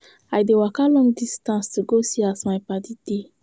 I dey waka long distance to go see as my paddy dey.